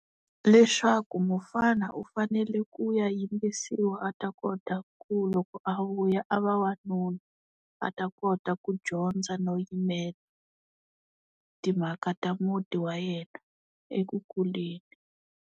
Leswaku mufana u fanele ku ya yimbisiwa a ta kota ku loko a vuya a va wanuna a ta kota ku dyondza no yimele timhaka ta muti wa yena eku kuleni.